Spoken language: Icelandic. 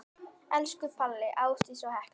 Elsku Palli, Ásdís og Hekla.